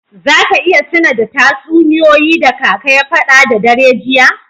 Za ka iya tuna da tatsuniyoyi da kaka ya fada da dare jiya?